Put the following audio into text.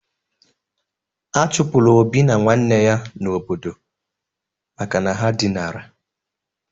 A chụpụrụ Obi na nwanne ya n'obodo maka na ha dinara.